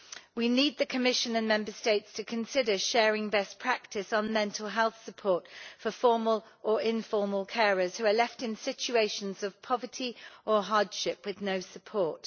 We need the Commission and Member States to consider sharing best practice on mental health support for formal or informal carers who are left in situations of poverty or hardship with no support.